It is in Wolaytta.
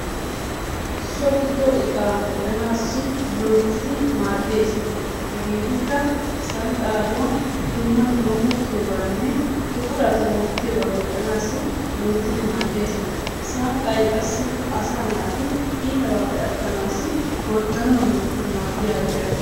So giddo iqaa medhdhanaassi loyittidi maaddes. Hegeetikka sanqqaaduwa dumma dummaban uttiyogaanne buqurata wottiyobaa medhdhanaassi loyittidi maaddes. Sanqqay qassikka asaa naati iitabaappe attanaassi gorddanawu loyittidi maaddiyagaa gididi erettes